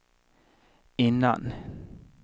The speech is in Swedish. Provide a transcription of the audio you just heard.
innan